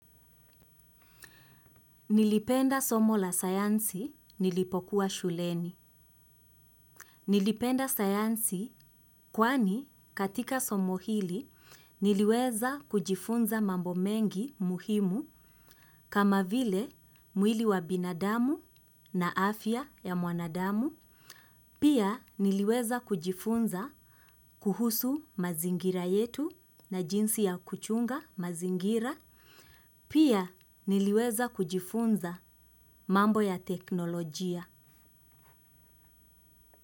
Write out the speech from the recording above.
Nilipenda somo la sayansi nilipokuwa shuleni. Nilipenda sayansi kwani katika somo hili niliweza kujifunza mambo mengi muhimu kama vile mwili wa binadamu na afya ya mwanadamu. Pia niliweza kujifunza kuhusu mazingira yetu na jinsi ya kuchunga mazingira. Pia niliweza kujifunza mambo ya teknolojia.